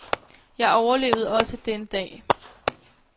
Jeg overlevede også denne dag.